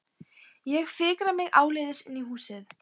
Ég fikra mig áleiðis inn í húsið.